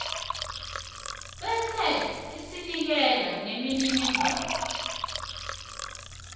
bese usinikela nemininingwana